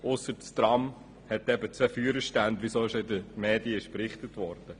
Es sei denn, das Tram hätte zwei Führerstände, wie bereits in den Medien berichtet wurde.